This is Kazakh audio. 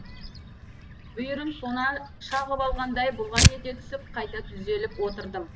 бүйірім сона шағып алғандай бұлғаң ете түсіп қайта түзеліп отырдым